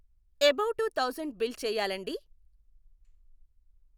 above two thousand bill చేయాలండీ